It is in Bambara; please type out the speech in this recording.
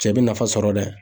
Cɛ bi nafa sɔrɔ dɛ